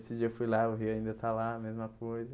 Esse dia eu fui lá, o rio ainda está lá, mesma coisa.